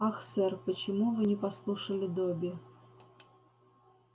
ах сэр почему вы не послушали добби